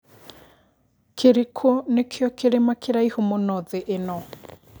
kĩrikũ nĩkio kĩrĩma kĩraihu mũno thĩ ĩno